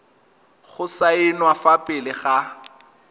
go saenwa fa pele ga